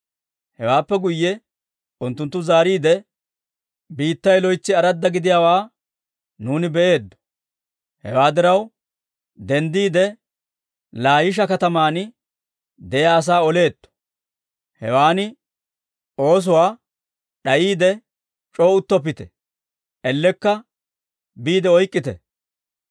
Hewaappe guyye unttunttu zaariide, «Biittay loytsi aradda gidiyaawaa nuuni be'eeddo. Hewaa diraw denddiide, Laayisha kataman de'iyaa asaa oleetto! Hawaan oosuwaa d'ayiide c'oo uttoppite; ellekka biide oyk'k'ite.